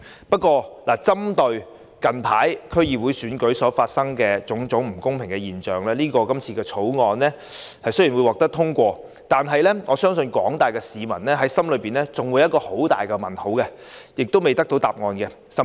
不過，針對最近區議會選舉發生的種種不公平現象，即使今次《條例草案》能獲得通過，我相信廣大市民心中還有一個很大的疑問未得到解答。